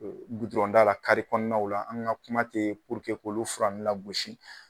la kɔnɔnaw la an ka kuma te ka olu lagosi.